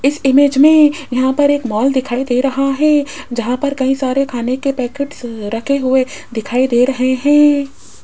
इस इमेज में यहां पर एक मॉल दिखाई दे रहा है जहां पर कई सारे खाने के पैकेट्स रखे हुए दिखाई दे रहे है।